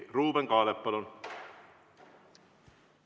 Ruuben Kaalep, palun!